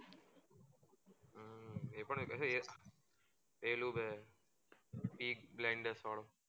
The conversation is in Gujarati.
peaky blinders વાડું